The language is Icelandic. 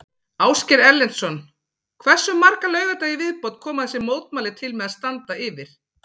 Ásgeir Erlendsson: Hversu marga laugardaga í viðbót koma þessi mótmæli til með að standa yfir?